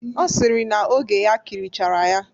Ọ sịrị na oge ya kirichara ya.